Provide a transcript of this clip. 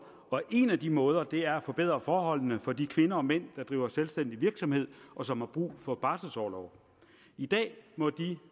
og en af de måder er at forbedre forholdene for de kvinder og mænd der driver selvstændig virksomhed og som har brug for barselorlov i dag må de